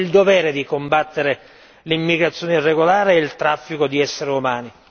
Abbiamo il dovere di combattere l'immigrazione irregolare e il traffico di esseri umani.